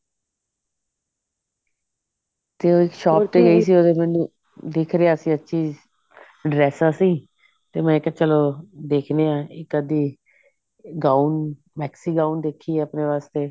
ਤੇ shopping ਗਈ ਸੀ ਉਦੋਂ ਮੈਨੂੰ ਦਿਖ ਰਿਹਾ ਸੀ ਹਰ ਚੀਜ dress ਆ ਸੀ ਤੇ ਮੈਂ ਕਿਹਾ ਚਲੋ ਦੇਖਦੇ ਹਾਂ ਇੱਕ ਅਧੀ gown maxi gown ਦੇਖੀਏ ਆਪਣੇ ਵਾਸਤੇ